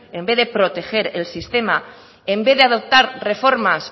en vez de proteger el sistema en vez de adoptar reformas